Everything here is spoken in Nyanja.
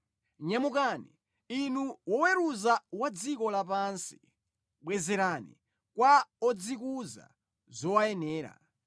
Nyamukani, Inu woweruza wa dziko lapansi; bwezerani kwa odzikuza zowayenera.